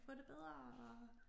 Få det bedre og